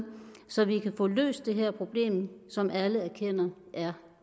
så vi kan få løst det her problem som alle erkender er